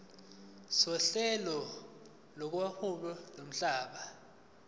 sohlelo lokuhweba lomhlaba